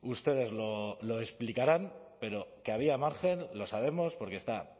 ustedes lo explicarán pero que había margen lo sabemos porque está